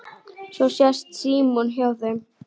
Svo sest Símon hjá þeim